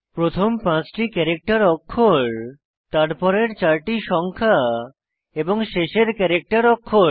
প্রথম পাঁচটি ক্যারেক্টার অক্ষর তারপরের চারটি সংখ্যা এবং শেষের ক্যারেক্টার অক্ষর